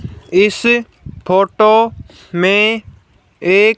इस फोटो मे एक--